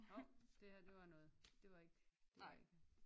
Hov det her det var noget det var ikke det var ikke